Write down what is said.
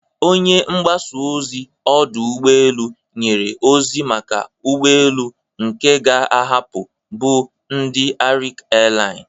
Onye mgbasa ozi ọdụ ụgbọ elu nyere ozi maka ụgbọ elu nke ga-ahapụ bụ ndị Arik Airline.